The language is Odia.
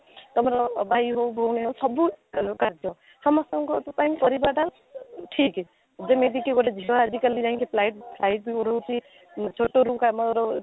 ତା'ମାନେ ଭାଇ ହଉ ଭଉଣୀ ହଉ ସବୁ କାଲୁ କାର୍ଯ୍ୟ ସମସ୍ତଙ୍କ ପାଇଁ ପରିବାର ଟା ଠିକ ଯେମିତିକି ଝିଅ ଆଜି କାଲି ଯାଇକି flight flight ବି ଉଡଉଛି ଛୋଟରୁ କାମରେ